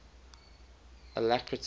alacrity